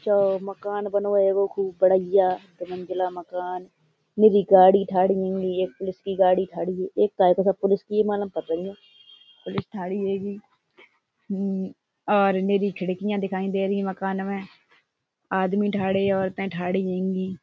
जो मकान बनो हेंगो खूब बढ़ाइया दू मंजिला मकान। निरि गाड़ी ठाड़ी हेंगी। एक पुलिस की गाड़ी ठाड़ी एक काय का पुलिस की मालूम पतो न। पुलिस ठाणी हेंगी। हम्म और निरि खिड़कियां दिखाई दे रही हैं मकान में। आदमी ठाणे हैं औरतें ठाणे हेंगे ।